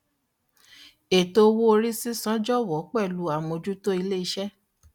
ètò owó orí sísan jọwọ pẹlú àmójútó ilé iṣẹ